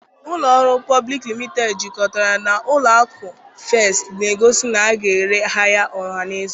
Ụlọ ọrụ Public Limited jikọtara na ụlọ akụ First na-egosi na a ga-ere ahịa ọhaneze